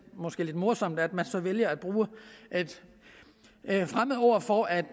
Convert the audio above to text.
morsomt at man så vælger at bruge et fremmedord for at